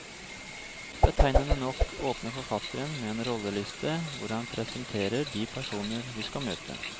Betegnende nok åpner forfatteren med en rolleliste, hvor han presenterer de personer vi skal møte.